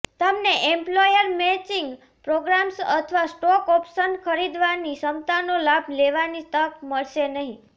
તમને employer matching programmes અથવા stock options ખરીદવાની ક્ષમતાનો લાભ લેવાની તક મળશે નહીં